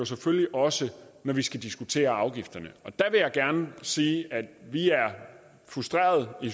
selvfølgelig også når vi skal diskutere afgifterne der vil jeg gerne sige at vi er frustrerede i